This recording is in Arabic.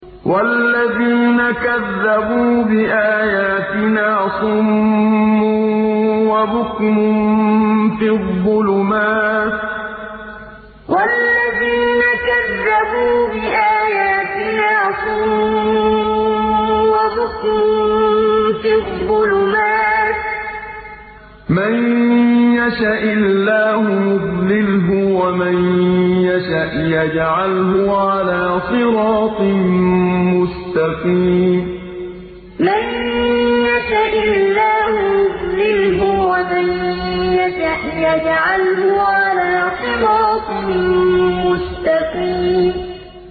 وَالَّذِينَ كَذَّبُوا بِآيَاتِنَا صُمٌّ وَبُكْمٌ فِي الظُّلُمَاتِ ۗ مَن يَشَإِ اللَّهُ يُضْلِلْهُ وَمَن يَشَأْ يَجْعَلْهُ عَلَىٰ صِرَاطٍ مُّسْتَقِيمٍ وَالَّذِينَ كَذَّبُوا بِآيَاتِنَا صُمٌّ وَبُكْمٌ فِي الظُّلُمَاتِ ۗ مَن يَشَإِ اللَّهُ يُضْلِلْهُ وَمَن يَشَأْ يَجْعَلْهُ عَلَىٰ صِرَاطٍ مُّسْتَقِيمٍ